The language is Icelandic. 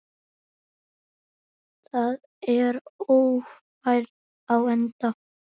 Þá er Ófærð á enda.